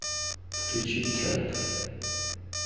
включи трэп